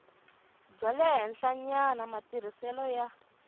bya le henhlanyana matirhiselo ya